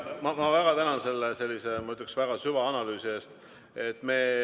Ma väga tänan selle, ma ütleksin, süvaanalüüsi eest!